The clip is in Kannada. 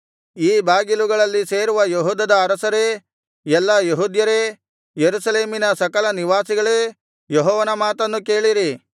ಈ ಬಾಗಿಲುಗಳಲ್ಲಿ ಸೇರುವ ಯೆಹೂದದ ಅರಸರೇ ಎಲ್ಲಾ ಯೆಹೂದ್ಯರೇ ಯೆರೂಸಲೇಮಿನ ಸಕಲ ನಿವಾಸಿಗಳೇ ಯೆಹೋವನ ಮಾತನ್ನು ಕೇಳಿರಿ